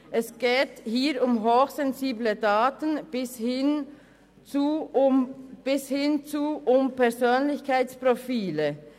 Es geht hier um hochsensible Daten bis hin zu Persönlichkeitsprofilen.